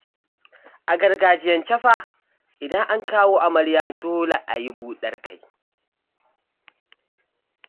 A gargajiyance fa, idan an kawo amarya dole a yi buɗar kai